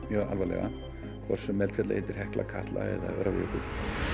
mjög alvarlega hvort sem eldfjallið heitir Hekla Katla eða Öræfajökull